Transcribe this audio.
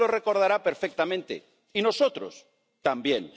Usted lo recordará perfectamente, y nosotros también.